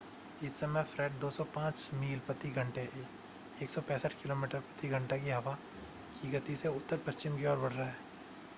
इस समय फ़्रेड 105 मील प्रति घंटे 165 किमी प्रति घंटा की हवा की गति से उत्तर-पश्चिम की ओर बढ़ रहा है